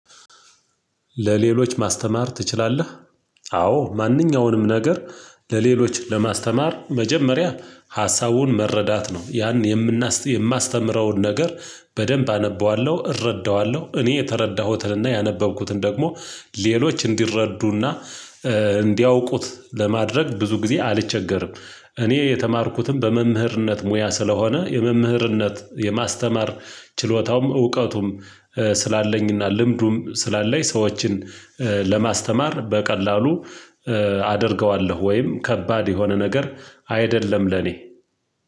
ለሌሎች ማስተማር ትችላለህ? አዎ ማንኛውንም ነገር ለሌሎች ለማስተማር መጀመሪያ ሀሳቡን መረዳት ነው። ያን የምናስ የማስተምረውን ነገር በደንብ አነበዋለሁ እረዳዋለሁ እኔ የተረዳሁትንና ያነበብኩትን ደግሞ ሌሎች እንዲረዱና እንዲያውቁት ለማድረግ ብዙ ጊዜ አልቸገርም። እኔ የተማርኩትም በመምህርነት ሙያ ስለሆነ የመምህርነት የማስተማር ችሎታውም እውቀቱም ስላለኝና ልምዱም ስላለኝ ሰዎችን ለማስተማር በቀላሉ አደርገዋለሁ፤ ወይም ከባድ የሆነ ነገር አይደለም ለኔ